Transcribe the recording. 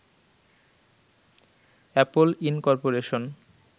Apple incorporation